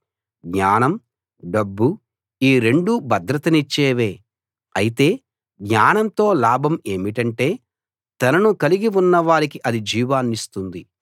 జ్ఞానం డబ్బు ఈ రెండూ భద్రతనిచ్చేవే అయితే జ్ఞానంతో లాభం ఏమిటంటే తనను కలిగి ఉన్నవారికి అది జీవాన్నిస్తుంది